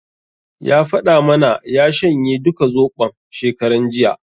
Ya faɗa mana ya shanye duka Zoɓon, shekaran jiya.